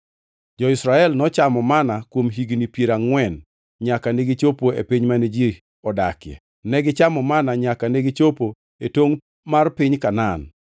Jo-Israel nochamo manna kuom higni piero angʼwen nyaka negichopo e piny mane ji odakie, negichamo manna nyaka negichopo e tongʼ mar piny Kanaan.